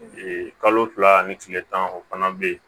kalo fila ni tile tan o fana bɛ yen